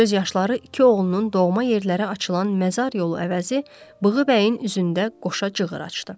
Göz yaşları iki oğlunun doğma yerlərə açılan məzar yolu əvəzi bığı bəyin üzündə qoşa cığır açdı.